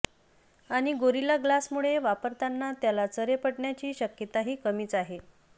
आणि गोरिला ग्लासमुळे वापरताना त्याला चरे पडण्याची शक्यताही कमीच आहे